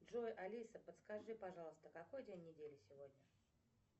джой алиса подскажи пожалуйста какой день недели сегодня